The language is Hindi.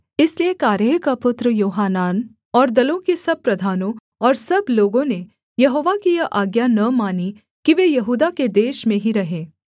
इसलिए कारेह का पुत्र योहानान और दलों के सब प्रधानों और सब लोगों ने यहोवा की यह आज्ञा न मानी कि वे यहूदा के देश में ही रहें